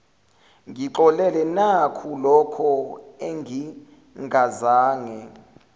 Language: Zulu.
ngixolele nakulokho engingazange